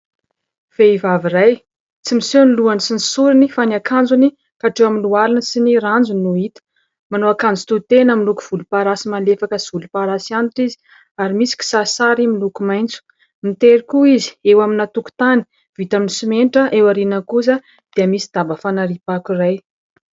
Vehivavy iray tsy miseho ny lohany sy ny sorony fa ny akanjony hatreo amin'ny lohaliny sy ny ranjony no hita. Manao akanjo tohitena miloko volomparasy malefaka sy volomparasy antitra izy ary misy kisarisary miloko maitso ; mitery kiho izy eo amina tokontany vita amin'ny simenitra. Eo aoriana kosa dia misy daba fanariam-pako iray.